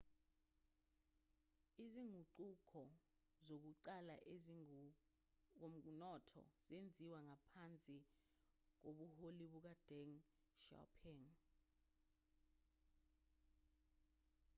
izinguquko zokuqala ezingokomnotho zenziwa ngaphansi kobuholi bukadeng xiaoping